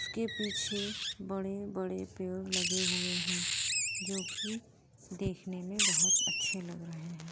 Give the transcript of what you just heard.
उसके पीछे बड़े -बड़े पेड़ लगे हुए है जो कि देखने में बहुत अच्छे लग रहे हैं।